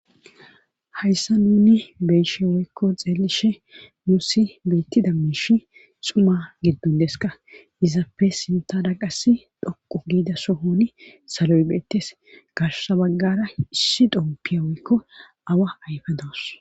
hayssa nuni beyshe woykko xeelishe nuu si beettida miishi xuma giddondeska izappe sinta da qasi dhoqu giida sohoni saloy beettes garsabaggara issi xompiya woykko awa ayfa doos